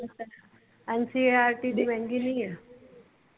Ncert ਦੀ ਮਹਿੰਗੀ ਨਹੀਂ ਆ।